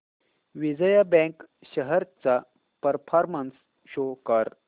Vijaya bank shares चा performance show कर